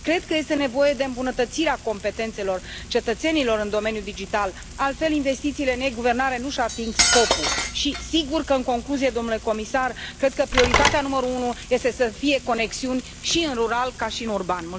Cred că este nevoie de îmbunătățirea competențelor cetățenilor în domeniul digital, altfel investițiile în e guvernare nu își ating scopul și sigur că, în concluzie, domnule comisar, cred că prioritatea numărul unu este să fie conexiuni și în rural ca și în urban.